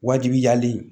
Wajibiyalen